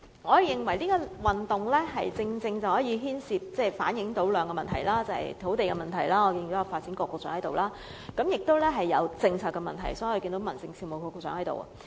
我認為龍獅運動正好反映兩個問題，第一個是土地問題——我看到發展局局長在座——第二個是政策問題，所以看到民政事務局局長在座。